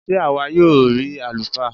Sé àwa yóò rí àlùfáà?